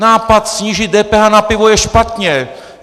Nápad snížit DPH na pivo je špatně!